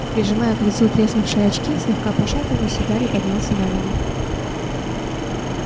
прижимая к лицу треснувшие очки слегка пошатываясь гарри поднялся на ноги